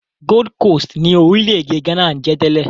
Gold Coast ni orílẹ̀-èdè Ghana ń jẹ́ tẹ́lẹ̀.